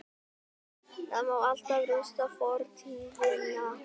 Það má alltaf rústa fortíðina-